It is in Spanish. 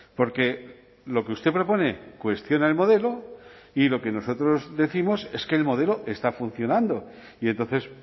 porque lo que usted propone cuestiona el modelo y lo que nosotros décimos es que el modelo está funcionando y entonces